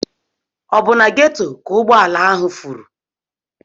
Ọ bụ na Ghetto ka ụgbọ ala ahụ furu?